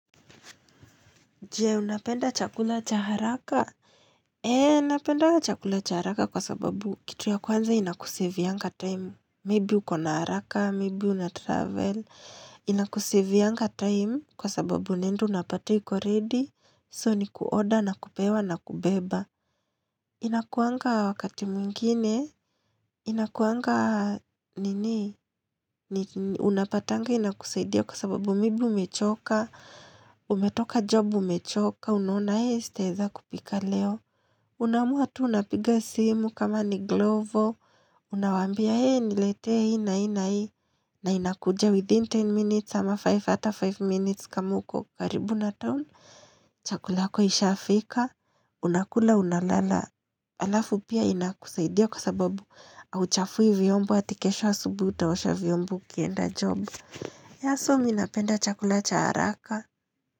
Je, unapenda chakula cha haraka? Eee, napendaga chakula cha haraka kwa sababu kitu ya kwanza inakusavianga time. Maybe uko na haraka, maybe unatravel. Inakusavianga time kwa sababu unaenda unapata iko ready. So, ni kuorder, na kupewa, na kubeba. Inakuanga wakati mwingine. Inakuanga, nini, unapatanga, inakusaidia kwa sababu maybe umechoka. Umetoka job, umechoka. Ka unaona hee sitaeza kupika leo, unaamua tu unapiga simu kama ni glovo, unawaambia hee nilete hii na hii na inakuja within 10 minutes sama 5 hata 5 minutes kama uko karibu na town. Chakula yako ishafika, unakula unalala, alafu pia inakusaidia kwa sababu hauchafui vyombo ati kesho asubui utaosha vyombo ukienda job. Yah so mi napenda chakula cha haraka.